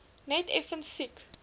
net effens siek